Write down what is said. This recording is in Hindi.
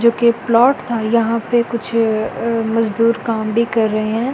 जो कि प्लॉट था यहां पे कुछ मजदूर काम भी कर रहे हैं।